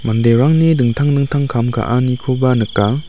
manderangni dingtang dingtang kam ka·anikoba nika.